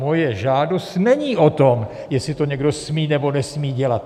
Moje žádost není o tom, jestli to někdo smí nebo nesmí dělat.